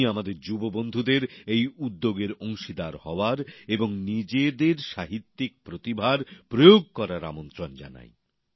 আমি আমাদের যুব বন্ধুদের এই উদ্যগের অংশীদার হওয়ার এবং নিজেদের সাহিত্যিক প্রতিভার প্রয়োগ করার আমন্ত্রন জানাই